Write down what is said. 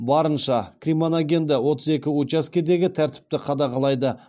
барынша кримоногенді отыз екі учаскедегі тәртіпті қадағалайды